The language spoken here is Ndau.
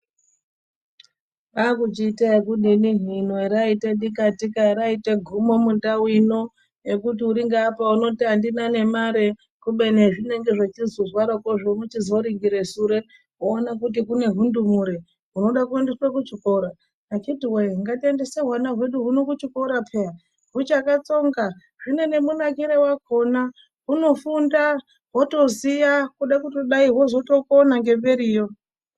Kwakuchiita ekudini hino haraita dikatika, haraita gumo mundau ino yekuti uri ngaapo unoti andina nemare kubeni hezvinenge zvichizozwarako wochizoringira sure woona kuti kune hundumure hunoda kuendeswa kuchikora. Vakhithi woyee ngatiendese hwana hwedu kuchikora peyaaa. Huchakatsonga. Zvine nemunakiro wakhona. Hunofunda, hwotoziya hwoda kutodai hwozotokona ngemberiyo.